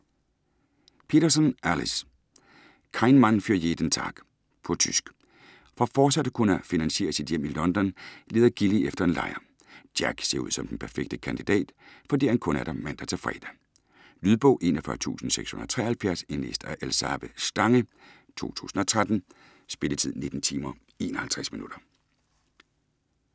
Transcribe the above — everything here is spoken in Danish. Peterson, Alice: Kein Mann für jeden Tag På tysk. For fortsat at kunne finansiere sit hjem i London, leder Gilly efter en lejer. Jack ser ud som den perfekte kandidat, fordi han kun er der mandag til fredag. Lydbog 41673 Indlæst af Elsabe Stange, 2013. Spilletid: 19 timer, 51 minutter.